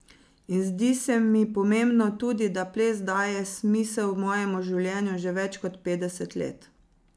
In zdi se mi pomembno tudi, da ples daje smisel mojemu življenju že več kot petdeset let.